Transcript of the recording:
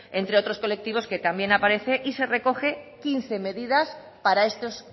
entre otros colectivos que también aparece y se recogen quince medidas para estos